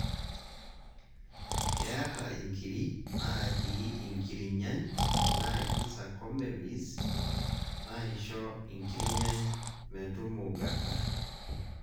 keeta inkiri naatii inkirnyany naaji sarcomeres naaisho inkirnyany metumugata